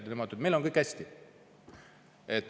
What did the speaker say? Nemad ütlevad, et meil on kõik hästi.